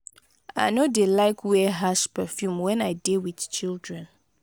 i no dey like wear harsh perfume wen i dey wit children.